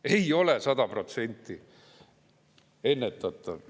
Ei ole 100% ennetatav!